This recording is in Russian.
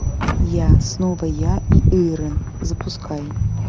я снова я и ирэн запускай